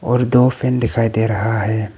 और दो फैन दिखाई दे रहा है।